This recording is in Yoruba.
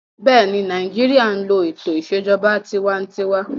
Bẹ́ẹ̀ni, Nàìjíríyà n lo ètò ìṣèjọba tinwatinwa